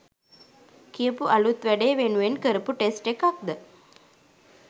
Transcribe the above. කියපු අලුත් වැඩේ වෙනුවෙන් කරපු ටෙස්ට් එකක්ද?